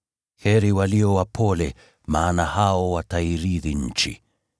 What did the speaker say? Heri walio wapole, maana hao watairithi nchi.